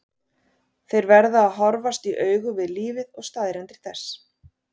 Þeir verða að horfast í augu við lífið og staðreyndir þess.